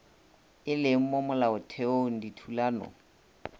e leng mo molaotheong dithulano